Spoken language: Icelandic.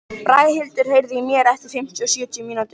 Braghildur, heyrðu í mér eftir fimmtíu og sjö mínútur.